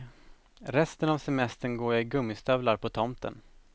Resten av semestern går jag i gummistövlar på tomten.